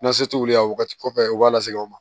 Nasi tɛ wuli a wagati kɔfɛ u b'a lasegin aw ma